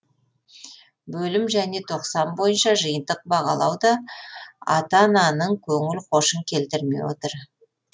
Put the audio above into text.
бөлім және тоқсан бойынша жиынтық бағалау да та ата ананың көңіл хошын келтірмей отыр